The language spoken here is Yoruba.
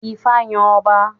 Ifá yàn ọba